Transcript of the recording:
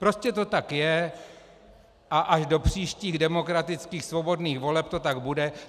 Prostě to tak je a až do příštích demokratických svobodných voleb to tak bude.